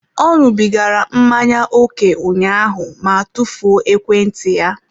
Ọ ṅụbigara mmanya ókè ụnyaahụ ma tufuo ekwentị ya.